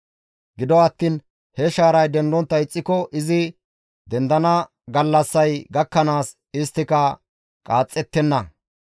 Gido attiin he shaaray dendontta ixxiko izi dendana gallassay gakkanaas isttika qaaxxettenna.